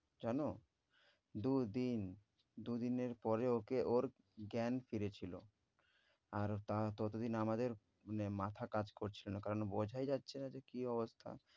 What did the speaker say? জানো, দু' দিন। দু' দিনের পরে ওকে ওর জ্ঞান ফিরেছিল। আর তারা ততদিন আমাদের মানে মাথা কাজ করছিল না কারণ বোঝাই যাচ্ছে না যে কী অবস্থা।